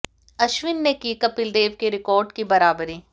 अश्विन ने की कपिल देव के रिकार्ड की बराबरी